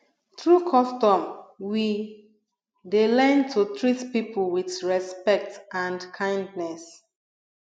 through custom we dey learn to treat people with respect and kindness